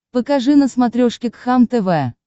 покажи на смотрешке кхлм тв